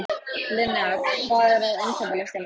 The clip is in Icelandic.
Linnea, hvað er á innkaupalistanum mínum?